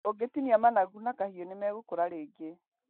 ũngĩtinia managu na kahiũ nĩmegũkũra rĩngĩ.